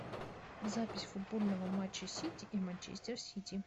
запись футбольного матча сити и манчестер сити